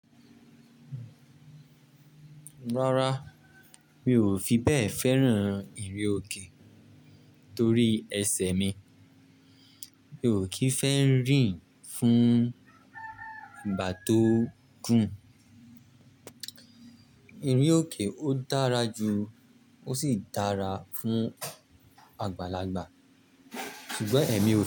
Rárá, mi ò fi bẹ́ẹ̀ féràn ìrinoké torí ẹsẹ̀ mi. Mi ò kí ń fẹ́ rìn fún ìgbà tó gùn. Ìrinoké ó dára ju ó sì dára fún àgbàlagbà ṣùgbọ́n ẹ̀mí ò fẹ́